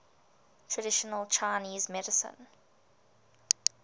traditional chinese medicine